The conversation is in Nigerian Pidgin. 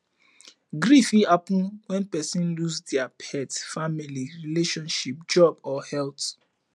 grief fit happen when person lose their pet family relationship job or health